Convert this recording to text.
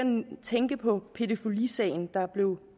tænke på pædofilisagen der blev